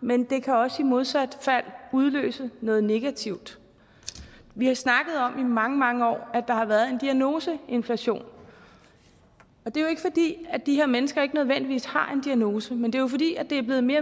men det kan også modsat udløse noget negativt vi har i mange mange år snakket at der har været en diagnoseinflation og det er de her mennesker ikke nødvendigvis har en diagnose men det er fordi det er blevet mere